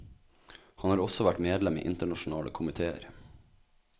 Han har også vært medlem i internasjonale komitéer.